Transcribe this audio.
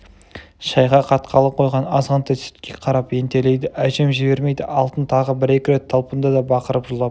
шайға қатқалы қойған азғантай сүтке қарап ентелейді әжем жібермейді алтын тағы бір-екі талпынды да бақырып жылап